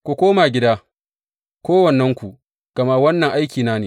Ku koma gida, kowannenku, gama wannan aikina ne.